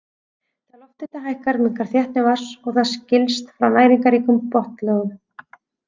Þegar lofthiti hækkar minnkar þéttni vatns og það skilst frá næringarríkum botnlögum.